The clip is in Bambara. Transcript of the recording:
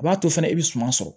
A b'a to fana i bɛ suma sɔrɔ